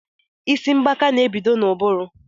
Isi mgbaka n'ebido n'ụbụrụ